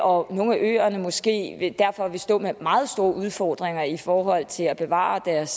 og at nogle af øerne derfor måske vil stå med meget store udfordringer i forhold til at bevare deres